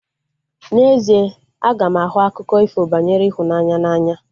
N'ezie, aga m ahụ akụkọ ifo banyere ịhụnanya n'anya